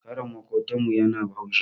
Karen maƙotan mu yana haushi